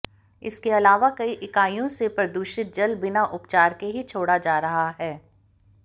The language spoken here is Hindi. इसके अलावा कई इकाईयों से प्रदूषित जल बिना उपचार के ही छोड़ा जा रहा है